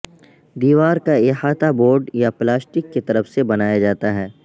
دیوار کا احاطہ بورڈ یا پلاسٹک کی طرف سے بنایا جاتا ہے